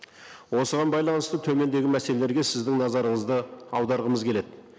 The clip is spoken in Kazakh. осыған байланысты төмендегі мәселелерге сіздің назарыңызды аударғымыз келеді